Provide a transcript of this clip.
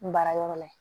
N baarayɔrɔ la yen